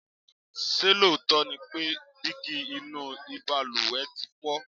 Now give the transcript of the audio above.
ṣé lóòótọ́ ni pé dígí inú ìbalùwẹ̀ ti fọ?